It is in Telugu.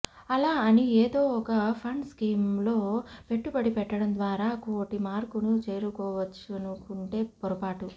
అలా అని ఏదో ఒక ఫండ్ స్కీమ్ లో పెట్టుబడి పెట్టడం ద్వారా కోటి మార్కును చేరుకోవచ్చనుకుంటే పొరపాటే